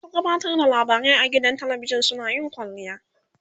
masu gabatar da labarai a gidan talavishan suna yin kwalliya